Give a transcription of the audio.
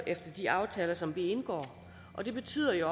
efter de aftaler som vi indgår og det betyder jo